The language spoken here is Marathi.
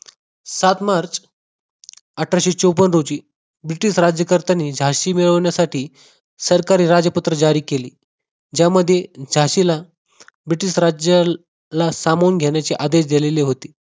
सात MARCH अठराशे चौपन रोजी ब्रिटिश राज्यकर्त्यांनी झांसी मिळवण्यासाठी सरकारी राजपत्र जारी केले ज्यामध्ये झाशीला ब्रिटिश राज्याला सामावून घेण्याचे आदेश दिले होते